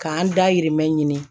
K'an dahirimɛmɛ ɲini